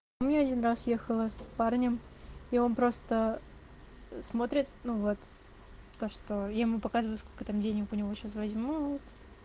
ну я один раз ехала с парнем и он просто смотрит ну вот то что я ему показываю сколько там денег у него сейчас возьму